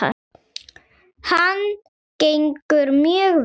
Hann gengur mjög vel.